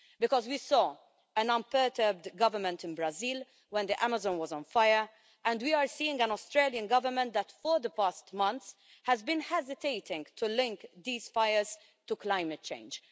Because we saw an unperturbed government in Brazil when the Amazon was on fire, and we are seeing an Australian Government that for the past months has been hesitating to link these fires to climate change.